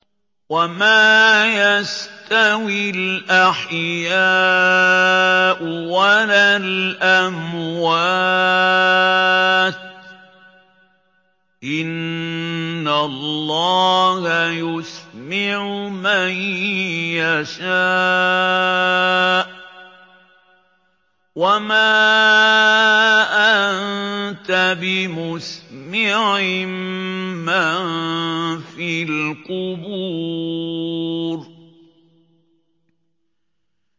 وَمَا يَسْتَوِي الْأَحْيَاءُ وَلَا الْأَمْوَاتُ ۚ إِنَّ اللَّهَ يُسْمِعُ مَن يَشَاءُ ۖ وَمَا أَنتَ بِمُسْمِعٍ مَّن فِي الْقُبُورِ